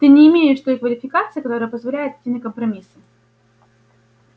ты не имеешь той квалификации которая позволяет идти на компромиссы